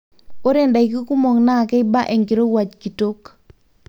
ore ndaiki kumok naa keiba enkirowuaj kitok